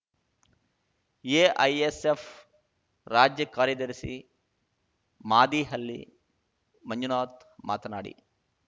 AISF ರಾಜ್ಯ ಕಾರ್ಯದರ್ಶಿ ಮಾದೀಹಳ್ಳಿ ಮಂಜುನಾಥ್‌ ಮಾತನಾಡಿ